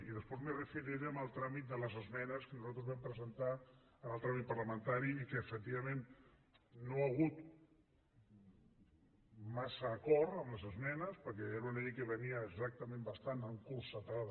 i després m’hi referiré en el tràmit de les esmenes que nosaltres vam presentar en el tràmit parlamentari i que efectivament no hi ha hagut massa acord en les esmenes perquè era una llei que venia exactament bastant encotillada